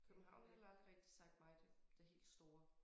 København har heller aldrig rigtig sagt mig det det helt store